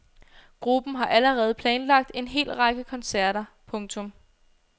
Gruppen har allerede planlagt en hel række koncerter. punktum